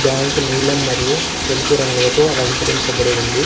Bank నీలం మరియు తెలుపు రంగులతో అలంకరించబడి ఉంది.